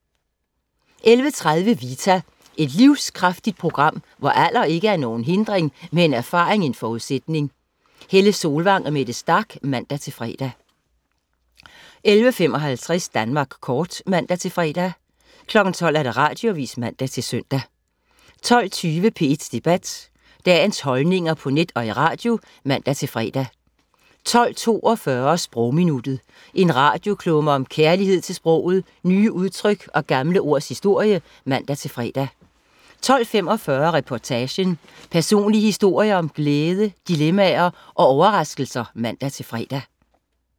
11.30 Vita. Et livskraftigt program, hvor alder ikke er nogen hindring, men erfaring en forudsætning. Helle Solvang og Mette Starch (man-fre) 11.55 Danmark Kort (man-fre) 12.00 Radioavis (man-søn) 12.20 P1 Debat. Dagens holdninger på net og i radio (man-fre) 12.42 Sprogminuttet. En radioklumme om kærlighed til sproget, nye udtryk og gamle ords historie (man-fre) 12.45 Reportagen. Personlige historier om glæde dilemmaer og overraskelser (man-fre)